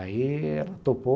Aí ela topou.